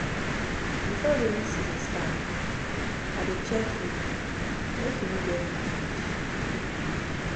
Before rainy season start, I dey check roof make e no get leakage. leakage.